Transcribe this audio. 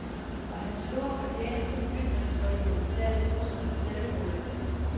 Og hans store fortjeneste, ytringsfriheden, tages nu som en selvfølge.